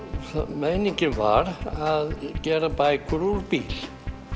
meiningin var að gera bækur úr bíl